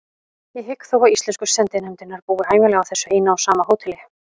Ég hygg þó að íslensku sendinefndirnar búi ævinlega á þessu eina og sama hóteli.